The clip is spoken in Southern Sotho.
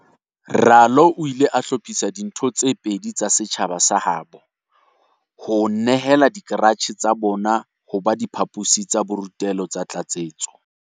Ralo o ile a hlophisa le ditho tse pedi tsa setjhaba sa habo ho nehela dikaratjhe tsa tsona ho ba diphaposi tsa borutelo tsa tlatsetso.